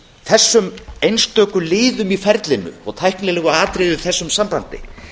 þessum einstöku liðum í ferlinu og tæknilegum atriðum í þessu sambandi